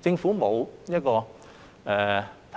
政府認為並